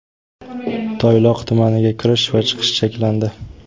Toyloq tumaniga kirish va chiqish cheklandi.